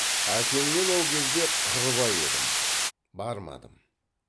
әкеңмен ол кезде қырбай едім бармадым